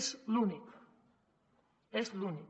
és l’únic és l’únic